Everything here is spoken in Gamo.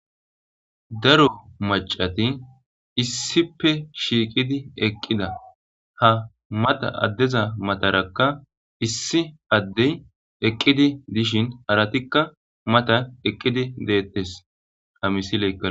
Daro macati issippe shiiqidi eqqida ha mata addeza matarakka issi addey eqqidi dishin aratikka mata eqqidi deettes ha misileqqa